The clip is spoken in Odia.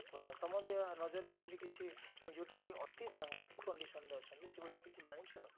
ମାନେ ତମ ନଜରରେ ସେମିତି କିଛି ସେମିତିକି ଅତି ସାଂଘାତିକ condition ରେ ଅଛନ୍ତି ସେଭଳିଆ କିଛି ଜାଣିଛ